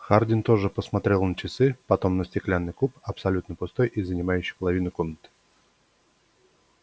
хардин тоже посмотрел на часы потом на стеклянный куб абсолютно пустой и занимающий половину комнаты